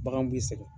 Bagan b'i sɛgɛn